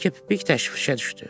Yekəpipik təşvişə düşdü.